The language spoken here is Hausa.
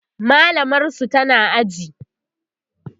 mallamar su tana aji